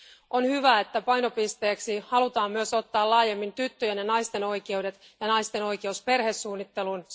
On hyvä, että painopisteeksi halutaan myös ottaa laajemmin tyttöjen ja naisten oikeudet ja naisten oikeus perhesuunnitteluun.